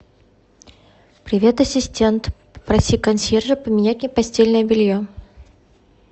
привет ассистент попроси консьержа поменять мне постельное белье